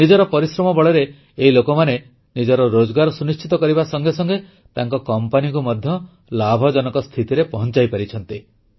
ନିଜର ପରିଶ୍ରମ ବଳରେ ଏହି ଲୋକମାନେ ନିଜ ରୋଜଗାର ସୁନିଶ୍ଚିତ କରିବା ସଙ୍ଗେ ସଙ୍ଗେ ତାଙ୍କ କମ୍ପାନୀକୁ ମଧ୍ୟ ଲାଭଜନକ ସ୍ଥିତିରେ ପହଂଚାଇପାରିଛନ୍ତି